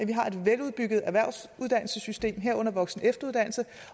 vi har et veludbygget erhvervsuddannelsessystem herunder voksen og efteruddannelse